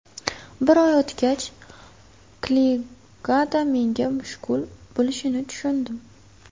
Bir oy o‘tgach, K-ligada menga mushkul bo‘lishini tushundim.